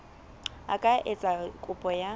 a ka etsa kopo ya